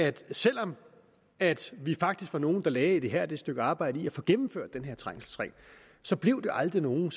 at selv om at vi faktisk var nogle der lagde et ihærdigt stykke arbejde i at få gennemført den her trængselsring så blev det aldrig nogen